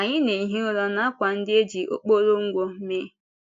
Anyị na-ehi ụra n’àkwà ndị e ji okporo ngwọ mee.